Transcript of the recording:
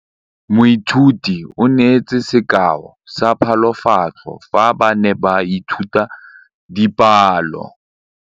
Moithuti o neetse sekaô sa palophatlo fa ba ne ba ithuta dipalo.